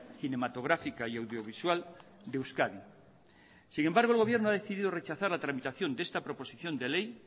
cinematográfica y audiovisual de euskadi sin embargo el gobierno ha decidido rechazar la tramitación de esta proposición de ley